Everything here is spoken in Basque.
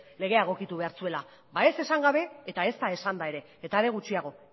legea egokitu behar zuela ez esan gabe eta ezta esanda ere eta are gutxiago